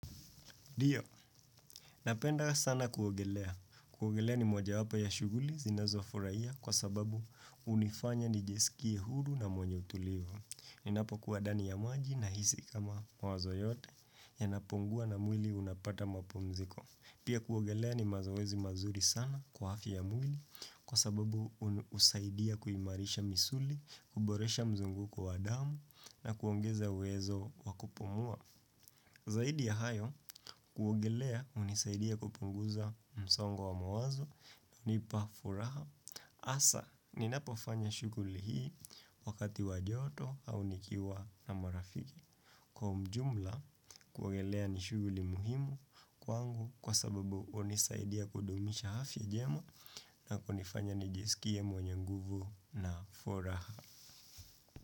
Ndio, napenda sana kuogelea. Kuogelea ni moja wapo ya shughuli zinazo furahia kwa sababu hunifanya nijisikie huru na mwenye utulivo. Ninapo kuwa ndani ya maji na hisi kama mawazo yote yanapungua na mwili unapata mapumziko. Pia kuogelea ni mazoezi mazuri sana kwa afya ya mwili kwa sababu husaidia kuimarisha misuli, kuboresha mzunguko wa damu na kuongeza uwezo wa kupumua. Zaidi ya hayo kuogelea hunisaidia kupunguza msongo wa mawazo hunipa furaha. Hasa ninapofanya shughuli hii wakati wa joto au nikiwa na marafiki. Kwa ujumla kuogelea ni shughuli muhimu kwangu kwa sababu hunisaidia kudumisha afya njema na kunifanya nijisikie mwenye nguvu na furaha.